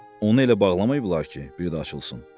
Onu elə bağlamayıblar ki, bir də açılsın.